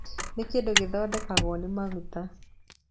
Nĩ kĩndũ gĩthondeketwo nĩ maguta.